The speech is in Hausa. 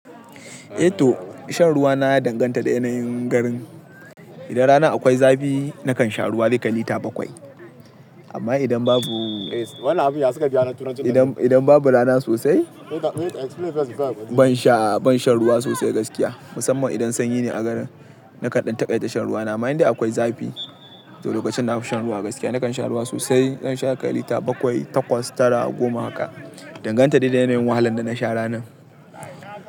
Eh to shan ruwa na ya danganta da yanayin garin. Idan ranan akwai zafi nakan sha ruwa zai kai litata bakwai. Amma idan babu, idan idan babu rana sosai ban sha, ban shan ruwa sosai gaskiya. Musamman idan sanyi ne a garin, nakan dan taƙaida shan ruwa. Na ma indai akwai zafi, to lokacin nafi shan ruwa gaskiya. Nakan sha ruwa sosai, zan sha ya ƙai lita bakwai, takwas, tara, goma haka. Danganta dai da yanayin wahalan da na sha ranan.